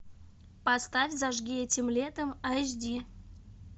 поставь зажги этим летом аш ди